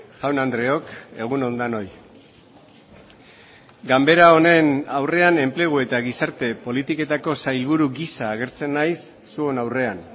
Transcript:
jaun andreok egun on denoi ganbera honen aurrean enplegu eta gizarte politiketako sailburu gisa agertzen naiz zuen aurrean